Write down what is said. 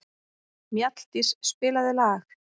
Mjalldís, spilaðu lag.